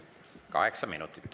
Kaheksa minutit.